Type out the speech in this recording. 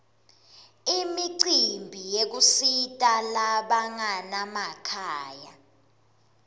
imicimbi yekusita labanganamakhaya